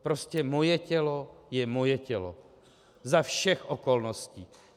Prostě moje tělo je moje tělo za všech okolností.